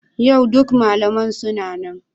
Yau duk malamai suna nan?